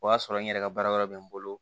O y'a sɔrɔ n yɛrɛ ka baara wɛrɛ bɛ n bolo